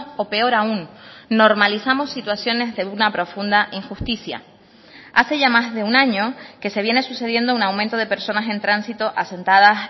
o peor aún normalizamos situaciones de una profunda injusticia hace ya más de un año que se viene sucediendo un aumento de personas en tránsito asentadas